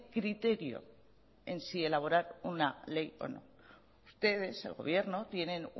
criterio en sí elaborar una ley o no ustedes el gobierno tienen